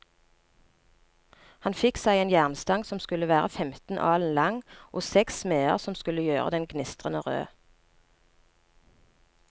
Han fikk seg en jernstang som skulle være femten alen lang, og seks smeder som skulle gjøre den gnistrende rød.